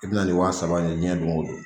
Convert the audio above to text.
I bɛna ni wa saba le jiyɛn don o don.